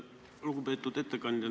Lugupeetud ettekandja!